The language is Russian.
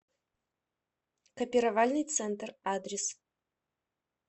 копировальный центр адрес